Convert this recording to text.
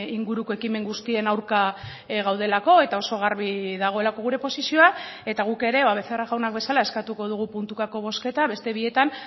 inguruko ekimen guztien aurka gaudelako eta oso garbi dagoelako gure posizioa eta guk ere ba becerra jaunak bezala eskatuko dugu puntukako bozketa beste bietan